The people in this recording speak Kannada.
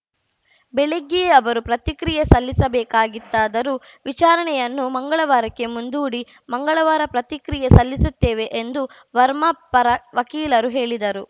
ಬೆಳಗ್ಗೆಯೇ ಅವರು ಪ್ರತಿಕ್ರಿಯೆ ಸಲ್ಲಿಸಬೇಕಿತ್ತಾದರೂ ವಿಚಾರಣೆಯನ್ನು ಮಂಗಳವಾರಕ್ಕೆ ಮುಂದೂಡಿ ಮಂಗಳವಾರ ಪ್ರತಿಕ್ರಿಯೆ ಸಲ್ಲಿಸುತ್ತೇವೆ ಎಂದು ವರ್ಮಾ ಪರ ವಕೀಲರು ಹೇಳಿದರು